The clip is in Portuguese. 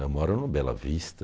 Eu moro no Bela Vista.